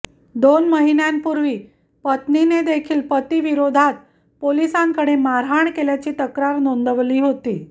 दोन महिन्यांपूर्वी पत्नीने देखील पती विरोधात पोलिसांकडे मारहाण केल्याची तक्रार नोंदवली होती